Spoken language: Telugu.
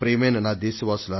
ప్రియమైన నా దేశ వాసులారా